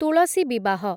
ତୁଳସୀ ବିବାହ